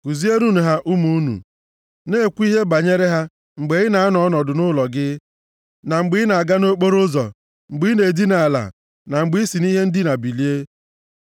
Kuzierenụ ha ụmụ unu, na-ekwu ihe banyere ha mgbe ị na-anọdụ nʼụlọ gị, na mgbe ị na-aga nʼokporoụzọ, mgbe ị na-edina ala na mgbe i si nʼihe ndina bilie.